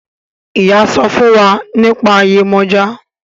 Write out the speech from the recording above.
Iyá sọfún fún wá nípa Yemoja.